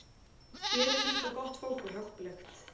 Hér er líka gott fólk og hjálplegt.